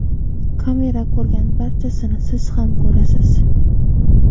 Kamera ko‘rgan barchasini siz ham ko‘rasiz.